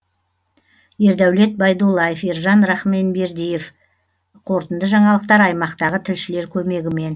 ердәулет байдуллаев ержан рахманбердиев қорытынды жаңалықтар аймақтағы тілшілер көмегімен